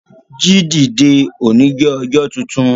Jíì dìde! Ọ̀ní jẹ́ ọjọ́ tuntun.